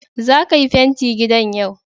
zaka Yi fenti gidan yau.